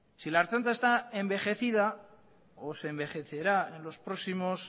si la ertzaintza está envejecida o se envejecerá en los próximos